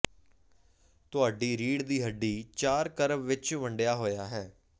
ਤੁਹਾਡੀ ਰੀੜ੍ਹ ਦੀ ਹੱਡੀ ਚਾਰ ਕਰਵ ਵਿਚ ਵੰਡਿਆ ਹੋਇਆ ਹੈ